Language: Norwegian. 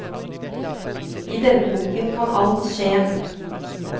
I denne boken kan alt skje.